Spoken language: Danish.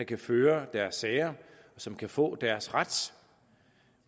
kan føre deres sager og som kan få deres ret